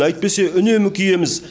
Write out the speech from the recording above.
әйтпесе үнемі киеміз